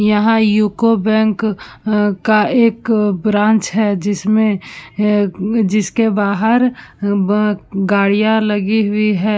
यहाँ UCO bank अ का एक ब्रांच है जिसमें ए जिसके बाहर ब गाड़ियाँ लगी हुई हैं।